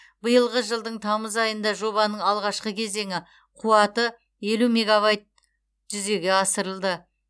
биылғы жылдың тамыз айында жобаның алғашқы кезеңі қуаты елу мегавайт жүзеге асырылды